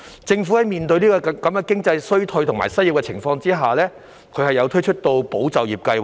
政府在面對經濟衰退和失業高企的情況下，推出了"保就業"計劃。